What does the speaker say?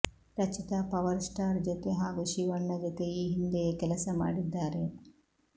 Rachita power star ಜೊತೆ ಹಾಗೂ ಶಿವಣ್ಣ ಜೊತೆ ಈ ಹಿಂದೆಯೇ ಕೆಲಸ ಮಾಡಿದ್ದಾರೆ